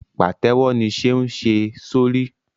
Pátèwọ ní Seun ṣe sórí.